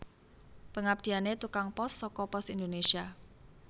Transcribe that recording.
Pengabdiane tukang pos soko Pos Indonesia